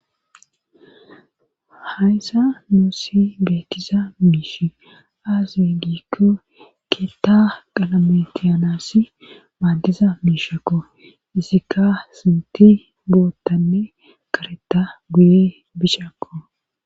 Hayssa nuusi beettiza miishi aazi giikko keetta qalametiyanasi maaddiza miishakko isikka sinti boottanne karetta buye bishakko.